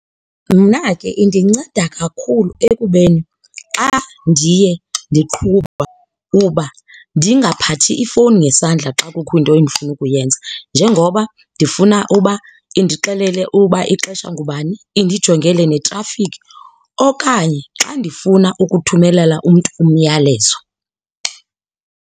Mna ke indinceda kakhulu ekubeni xa ndiye ndiqhuba uba ndingaphathi ifowuni ngesandla xa kukho into endifuna ukuyenza. Njengoba ndifuna uba indixelele uba ixesha ngubani undijongele neetrafikhi okanye xa ndifuna ukuthumelela umntu umyalezo.